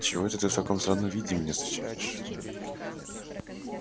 чего это ты в таком странном виде меня встречаешь